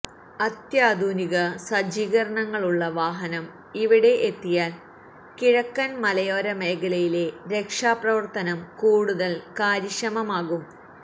അത്യാധുനിക സജ്ജീകരണങ്ങളുള്ള വാഹനം ഇവിടെ എത്തിയാൽ കിഴക്കൻ മലയോര മേഖലയിലെ രക്ഷാപ്രവർത്തനം കൂടുതൽ കാര്യക്ഷമമാകും